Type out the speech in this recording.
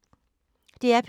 DR P3